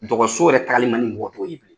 Dɔgɔso yɛrɛ taali man ni mɔgɔtɔw ye bilen.